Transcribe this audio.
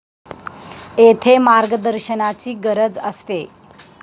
येथे मार्गदर्शनाची गरज असते.